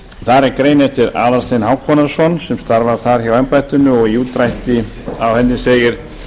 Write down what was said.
þar er grein eftir aðalstein hákonarson sem starfar þar hjáembættinu og í útdrætti á henni segir